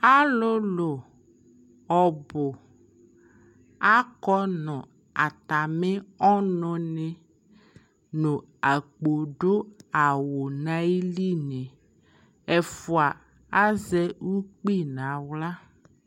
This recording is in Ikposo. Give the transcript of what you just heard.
Alʋlʋ ɔbʋ akɔ nʋ atamɩ ɔnʋnɩ nʋ akpo dʋ awʋ nʋ ayilinɩ, ɛfʋa azɛ ukpi nʋ aɣla